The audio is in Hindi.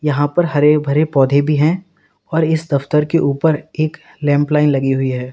यहां पर हरे भरे पौधे भी है और इस दफ्तर के ऊपर एक लैम्पलाइन लगी हुई है।